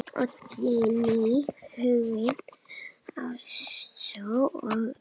Oddný, Huginn, Ástrós og Ósk.